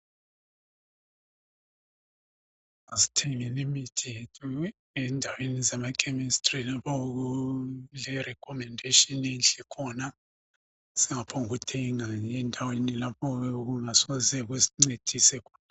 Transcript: Asithengeni imithi yethu endaweni zamachemistry lapho okule recommendation enhle khona singaphonguthenga nje endaweni lapho okuyabe kungasoke kusincedise khona